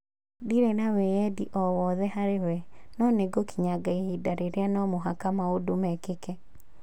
Ndĩrĩ na wĩyendi o wothe harĩ we, no nĩgũkinyaga ihinda rĩrĩa no mũhaka maũndũ mekĩke.